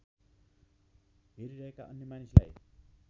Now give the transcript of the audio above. हेरिरहेका अन्य मानिसलाई